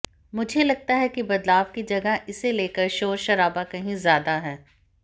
मुझे लगता है कि बदलाव की जगह इसे लेकर शोरशराबा कहीं ज्यादा है